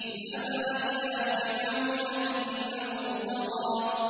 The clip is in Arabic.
اذْهَبَا إِلَىٰ فِرْعَوْنَ إِنَّهُ طَغَىٰ